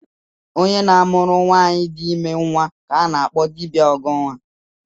Onye na-amụrụ nwaanyị di ime nnwa ka a na-akpọ dibịa ọghọnnwa